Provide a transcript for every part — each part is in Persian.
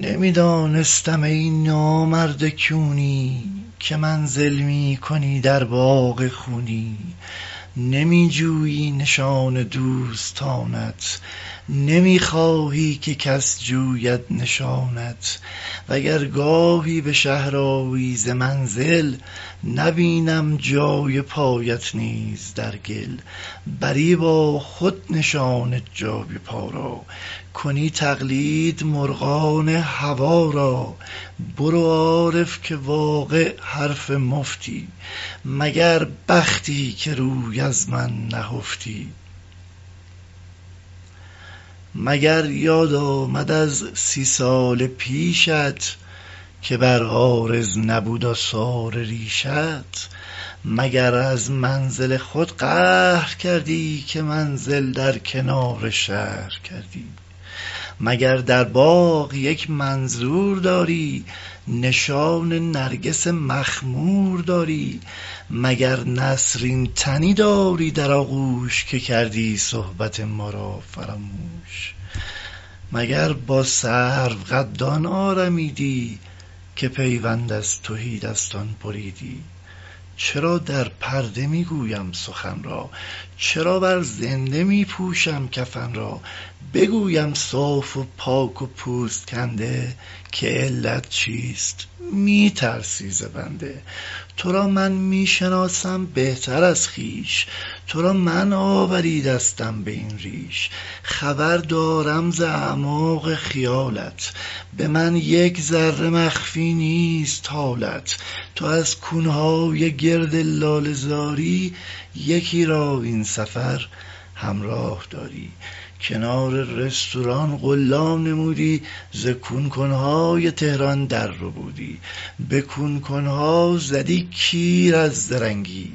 نمی دانستم ای نامرد کونی که منزل می کنی در باغ خونی نمی جویی نشان دوستانت نمی خواهی که کس جوید نشانت وگر گاهی به شهر آیی ز منزل نبینم جای پایت نیز در گل بری با خود نشان جای پا را کنی تقلید مرغان هوا را برو عارف که واقع حرف مفتی مگر بختی که روی از من نهفتی مگر یاد آمد از سی سال پیشت که بر عارض نبود آثار ریشت مگر از منزل خود قهر کردی که منزل در کنار شهر کردی مگر در باغ یک منظور داری نشان نرگس مخمور داری مگر نسرین تنی داری در آغوش که کردی صحبت ما را فراموش مگر با سروقدان آرمیدی که پیوند از تهی دستان بریدی چرا در پرده می گویم سخن را چرا بر زنده می پوشم کفن را بگویم صاف و پاک و پوست کنده که علت چیست می ترسی ز بنده تو را من می شناسم بهتر از خویش تو را من آوریدستم به این ریش خبر دارم ز اعماق خیالت به من یک ذره مخفی نیست حالت تو از کون های گرد لاله زاری یکی را این سفر همراه داری کنار رستوران قلا نمودی ز کون کن های تهران در ربودی به کون کن ها زدی کیر از زرنگی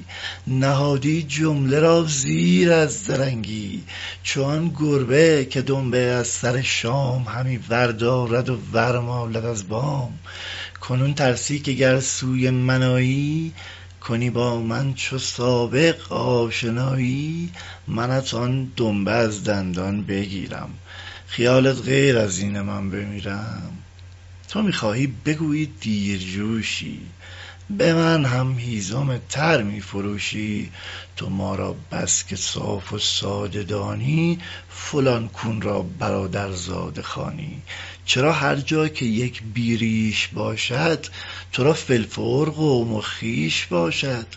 نهادی جمله را زیر از زرنگی چو آن گربه که دنبه از سر شام همی ور دارد و ورمالد از بام کنون ترسی که گر سوی من آیی کنی با من چو سابق آشنایی منت آن دنبه از دندان بگیرم خیالت غیر از اینه من بمیرم تو می خواهی بگویی دیرجوشی به من هم هیزم تر می فروشی تو ما را بس که صاف و ساده دانی فلان کون را برادرزاده خوانی چرا هر جا که یک بی ریش باشد تو را فی الفور قوم و خویش باشد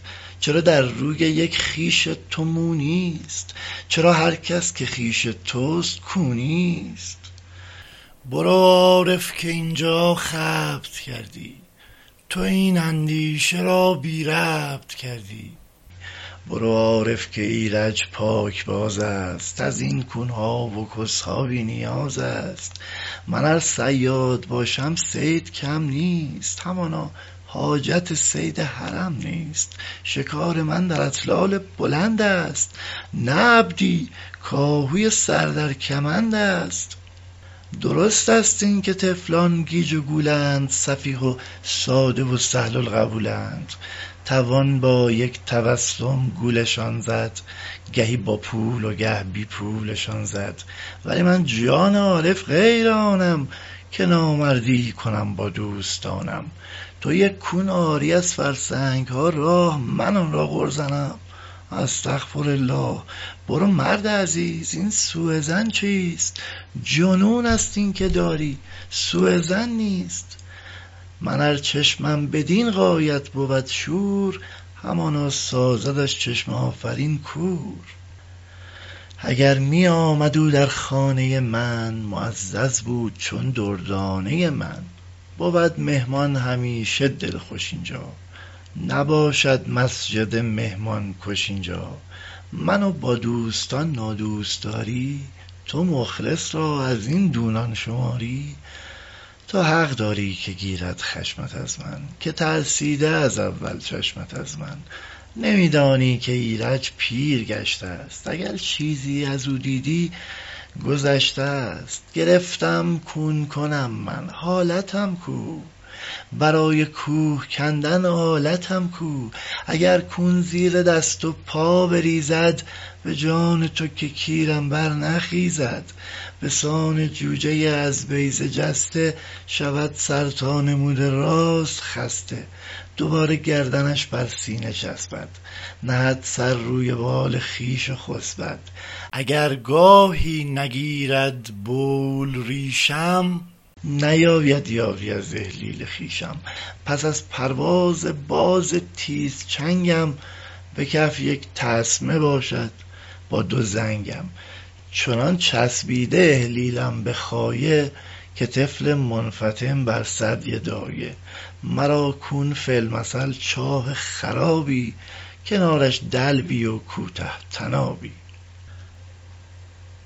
چرا در روی یک خویش تو مو نیست چرا هر کس که خویش توست کونیست برو عارف که اینجا خبط کردی مر این اندیشه را بی ربط کردی برو عارف که ایرج پاکبازست از این کون ها و کس ها بی نیاز است من ار صیاد باشم صید کم نیست همانا حاجت صید حرم نیست شکار من در اتلال بلندست نه عبدی کآهوی سر در کمندست درستست اینکه طفلان گیج و گولند سفیه و ساده و سهل القبولند توان با یک تبسم گولشان زد گهی با پول و گه بی پولشان زد ولی من جان عارف غیر آنم که نامردی کنم با دوستانم تو یک کون آری از فرسنگ ها راه من آن را قر زنم استغفرالله برو مرد عزیز این سوءظن چیست جنونست اینکه داری سوءظن نیست من ار چشمم بدین غایت بود شور همانا سازدش چشم آفرین کور اگر می آمد او در خانۀ من معزز بود چون دردانۀ من بود مهمان همیشه دلخوش اینجا نباشد مسجد مهمان کش اینجا من و با دوستان نادوستداری تو مخلص را از این دونان شماری تو حق داری که گیرد خشمت از من که ترسیده از اول چشمت از من نمیدانی که ایرج پیر گشته ست اگر چیزی ازو دیدی گذشته ست گرفتم کون کنم من حالتم کو برای کوه کندن آلتم کو اگر کون زیر دست و پا بریزد به جان تو که کیرم برنخیزد بسان جوجۀ از بیضه جسته شود سر تا نموده راست خسته دوباره گردنش بر سینه چسبد نهد سر روی بال خویش و خسبد اگر گاهی نگیرد بول پیشم نیاید یادی از احلیل خویشم پس از پرواز باز تیزچنگم به کف یک تسمه باشد با دو زنگم چنان چسبیده احلیلم به خایه که طفل منفطم بر ثدی دایه مرا کون فی المثل چاه خرابی کنارش دلوی و کوته طنابی